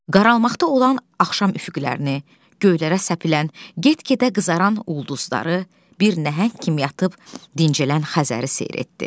Qaralmaqda olan axşam üfüqlərini, göylərə səpilən, get-gedə qızaran ulduzları, bir nəhəng kimi yatıb dincələn Xəzəri seyr etdi.